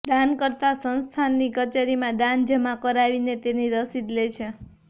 દાનકર્તા સંસ્થાનની કચેરીમાં દાન જમા કરાવીને તેની રસીદ લે છે